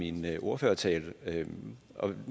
i min ordførertale